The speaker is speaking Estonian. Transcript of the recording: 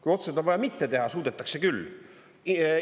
Kui otsuseid on vaja mitte teha, suudetakse küll.